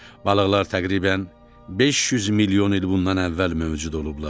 Balıqlar təqribən 500 milyon il bundan əvvəl mövcud olublar.